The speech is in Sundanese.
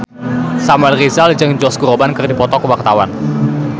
Samuel Rizal jeung Josh Groban keur dipoto ku wartawan